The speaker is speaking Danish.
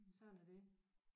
Sådan er det